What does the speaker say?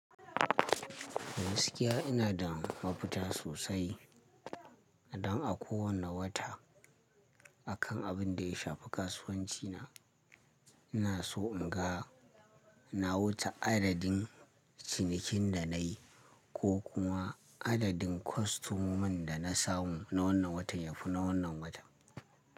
Gaskiya ina da mafuta sosai don a kowane wata a kan abin da ya shafi kasuwanci na. Ina so in ga, na wuce adadin cinikin da nayi ko kuma adadin kwastoman da na samu na wannan watan yafi na wannan watan.